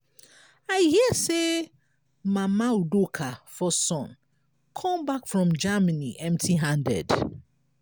i hear say mama udoka first son come back from germany empty handed.